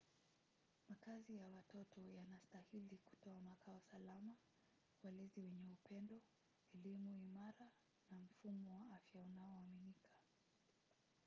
makazi ya watoto yanastahili kutoa makao salama walezi wenye upendo elimu imara na mfumo wa afya unaoaminika